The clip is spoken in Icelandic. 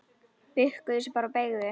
Bukkuðu sig bara og beygðu!